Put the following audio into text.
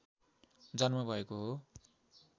जन्म भएको हो